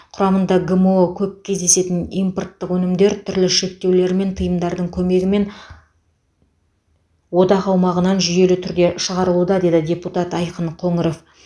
құрамында гмо көп кездесетін импорттық өнімдер түрлі шектеулер мен тыйымдардың көмегімен одақ аумағынан жүйелі түрде шығарылуда деді депутат айқын қоңыров